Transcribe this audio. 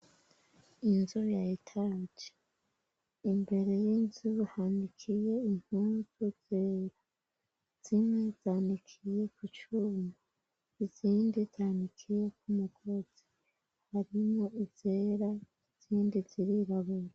Inzu niya etaje, imbere y'inzu hanikiye impuzu zera, zimwe zanikiye ku cuma, izindi zanikiye kumukozi harimwo izera izindi ziriraburi